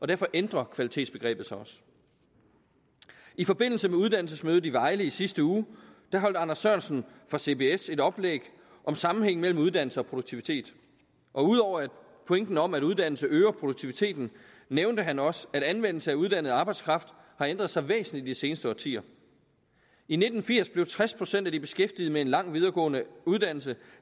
derfor ændrer kvalitetsbegrebet sig også i forbindelse med uddannelsesmødet i vejle i sidste uge holdt anders sørensen fra cbs et oplæg om sammenhængen mellem uddannelse og produktivitet ud over pointen om at uddannelse øger produktiviteten nævnte han også at anvendelse af uddannet arbejdskraft har ændret sig væsentligt i de seneste årtier i nitten firs blev tres procent af de beskæftigede med en lang videregående uddannelse